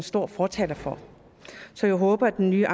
store fortalere for så jeg håber at den nye